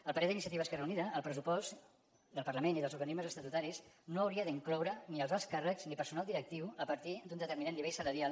a parer d’iniciativa esquerra unida el pressupost del parlament i dels organismes estatutaris no hauria d’incloure ni els alts càrrecs ni personal directiu a partir d’un determinat nivell salarial